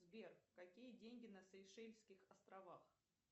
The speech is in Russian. сбер какие деньги на сейшельских островах